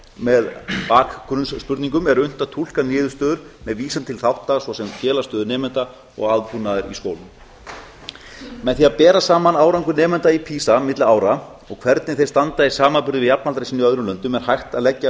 með bakgrunnsspurningum er unnt að túlka niðurstöður með vísan til þátta svo sem félagsstöðu nemenda og aðbúnaðar í skólum með því að bera saman árangur nemenda í pisa milli ára og hvernig þeir standa í samanburði við jafnaldra sín í öðrum löndum er hægt að leggja